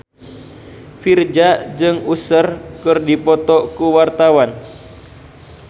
Virzha jeung Usher keur dipoto ku wartawan